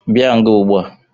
Bia nga Ụgbua!